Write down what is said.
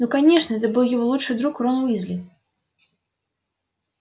ну конечно это был его лучший друг рон уизли